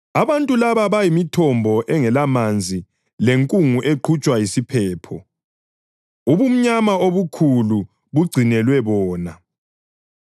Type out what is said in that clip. Abantu laba bayimithombo engelamanzi lenkungu eqhutshwa yisiphepho. Ubumnyama obukhulu bugcinelwe bona.